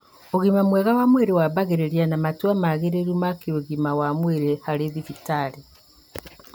ũgima mwega wa mwĩrĩ wambagĩrĩria na matua magĩrĩru ma kĩũgima wa mwĩrĩ harĩ thibitarĩ